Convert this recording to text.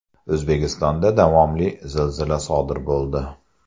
O‘zbekistonda davomli zilzila sodir bo‘ldi.